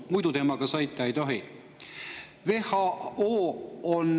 Muidu temaga sõita ei tohi.